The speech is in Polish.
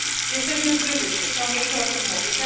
Jesteśmy w kryzysie, ciągle się o tym mówi.